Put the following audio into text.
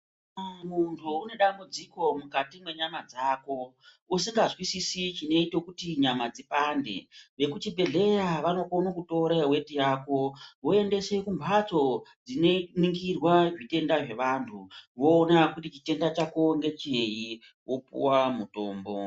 Kana muntu une dambudziko mukati mwenyama dzako usingazwisisi chinoita kuti nyama dzipande, veku chibhehleya vanokone kutora weti yako voendese kumbatso dzinoningirwa zvitenda zvevantu voona kuti chitenda chako ngecheyi, wopuwa mutombo.